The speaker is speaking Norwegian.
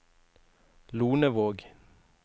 Lonevåg